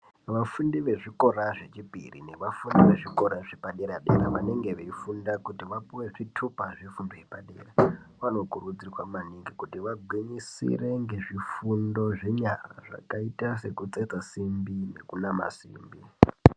Vafundi yezvikora zvechipiri nevafundi vezvikora zvapadera-dera vanenge veifunda kuti vapuwe zvitupa zvefundo yepadera vano kurudzirwa maningi kuti vagwinyisire ngezv ifundo zvenyara zvakaita sekutsetsa simbi nekunama simbi.